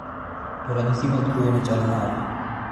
To ranyisi mag tuo ni chalo nade?